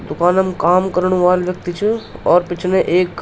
दुकानम् काम करण वाल व्यक्ति च अर पिछने एक --